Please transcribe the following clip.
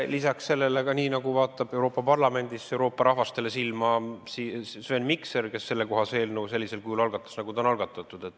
Lisaks ka nii, nagu vaatab Euroopa Parlamendis Euroopa rahvastele silma Sven Mikser, kes sellekohase eelnõu sellisel kujul algatas, nagu see on algatatud.